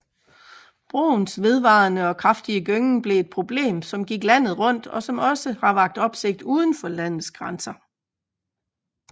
Broens vedvarende og kraftige gyngen blev et problem som gik landet rundt og også har vakt opsigt udenfor landets grænser